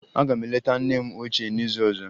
Aga m eleta nne m ochie n'izu ọzọ.